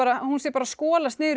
að hún sé bara að skolast niður í